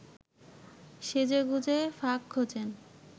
সেজেগুজে ফাঁক খোঁজেন